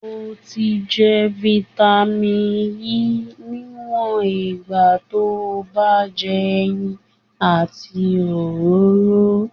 O ti je "vitamin E" niwon igba to ba n je eyin àti òróró.